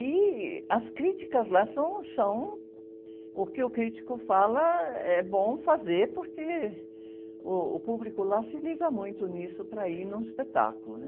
E as críticas lá são, são o que o crítico fala é bom fazer, porque uh, o público lá se liga muito nisso para ir num espetáculo.